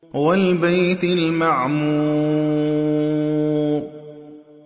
وَالْبَيْتِ الْمَعْمُورِ